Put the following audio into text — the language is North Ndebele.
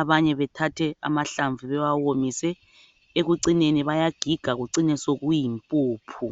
abanye bethathe amahlamvu bewawomise ekucineni bayagiga kucine sokuyimpuphu.